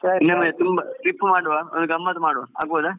ಸರಿ ಸರಿ.